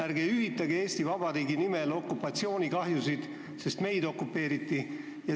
Ärge hüvitage Eesti Vabariigi nimel okupatsioonikahjusid, sest meid okupeeriti!